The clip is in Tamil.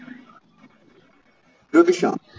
ரூபிஷா